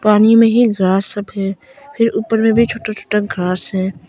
पानी में ही घास सब है फिर ऊपर में छोटा छोटा घास है।